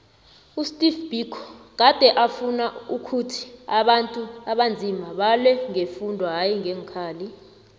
usteve biko gade afuna ukhuthi abantu abanzima balwe ngefundo hayi ngeenkhali